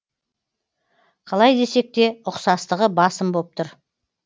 қалай десек те ұқсастығы басым боп тұр